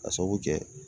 Ka sabu kɛ